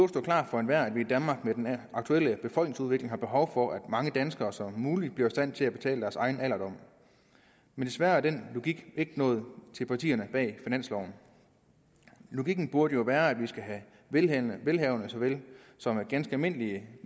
stå klart for enhver at vi i danmark med den aktuelle befolkningsudvikling har behov for at så mange danskere som muligt bliver i stand til at betale for deres egen alderdom men desværre er den logik ikke nået til partierne bag finansloven logikken burde jo være at vi skal have velhavende velhavende såvel som ganske almindelige